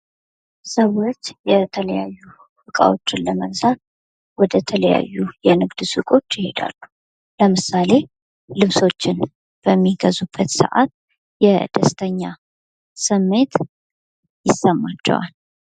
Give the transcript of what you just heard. ሰዎች የተለያዩ ልብሶችን ለመግዛት ወደ ተለያዩ ሱቆች ይሄዳሉ ።ለምሳሌ ልብሶችን በሚገዙበት ሰዓት የደስተኛ ስሜት ይሰማቸዋል።